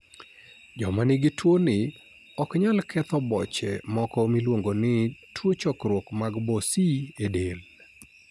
Joma nigi tuwoni ok nyal ketho boche moko miluongo ni tuo chokruok mag boce e del